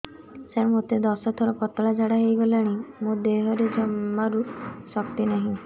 ସାର ମୋତେ ଦଶ ଥର ପତଳା ଝାଡା ହେଇଗଲାଣି ମୋ ଦେହରେ ଜମାରୁ ଶକ୍ତି ନାହିଁ